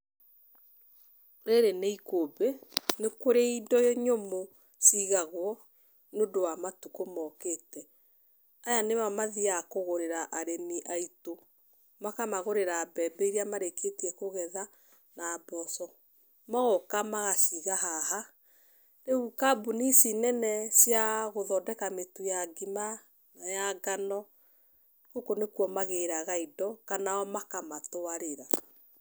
Rĩrĩ nĩ ikũmbĩ, nĩ kũrĩ indo nyũmũ cigagwo nĩndũ wa matukũ mokĩte. Aya nĩo mathiaga kũgũrĩra arĩmi aitũ, makamagũrĩra mbembe iria marĩkĩtie kũgetha na mboco, magoka magaciga haha, rĩu kambũni ici nene cia gũthondeka mĩtu ya ngima, ya ngano, gũkũ nĩkuo magĩraga indo kana o makamatwarĩra.